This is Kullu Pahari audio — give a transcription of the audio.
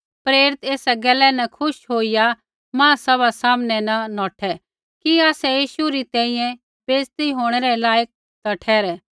प्रेरित एसा गैला न खुश होईया महासभा सामनै न नौठै कि आसै यीशु री तैंईंयैं बैइज़त होंणै रै लायक ता ठहरै